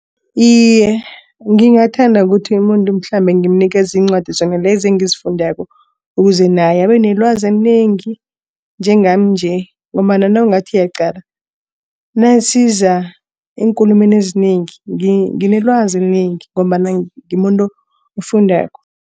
Iye, ngingathanda ukuthi umuntu mhlambe ngimnikele iincwadi zona lezo engizifundako ukuze naye abe nelwazi enengi. Njengami nje ngombana nawungathi uyaqala nasiza eenkulumeni ezinengi nginelwazi elinengi ngombana ngimuntu ofundako.